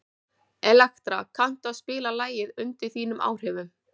Elektra, kanntu að spila lagið „Undir þínum áhrifum“?